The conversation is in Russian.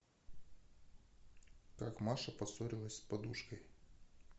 как маша поссорилась с подружкой